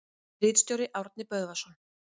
Ritstjóri: Árni Böðvarsson.